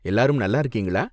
எல்லாரும் நல்லா இருக்கீங்களா?